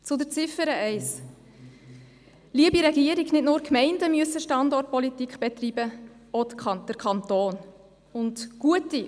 Zu Ziffer 1: Liebe Regierung, nicht nur die Gemeinden müssen Standortpolitik betreiben, auch der Kanton muss dies tun.